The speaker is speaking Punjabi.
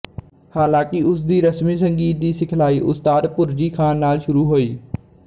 ਹਾਲਾਂਕਿ ਉਸ ਦੀ ਰਸਮੀ ਸੰਗੀਤ ਦੀ ਸਿਖਲਾਈ ਉਸਤਾਦ ਭੁਰਜੀ ਖਾਨ ਨਾਲ ਸ਼ੁਰੂ ਹੋਈ